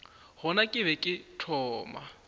gona ke be ke thoma